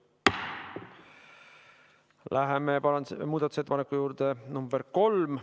Läheme muudatusettepaneku nr 3 juurde.